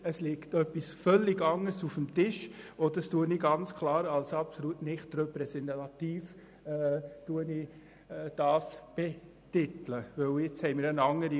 Es liegt etwas völlig anderes auf dem Tisch, und deshalb betitle ich das Abstimmungsresultat als absolut nicht repräsentativ.